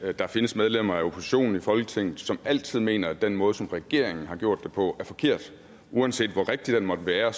at der findes medlemmer af oppositionen i folketinget som altid mener at den måde som regeringen har gjort det på er forkert uanset hvor rigtig den måtte være